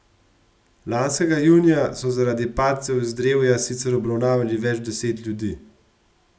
Lanskega junija so zaradi padcev z drevja sicer obravnavali več deset ljudi.